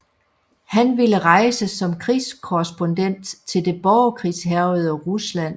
Han ville rejse som krigskorrespondent til det borgerkrigshærgede Rusland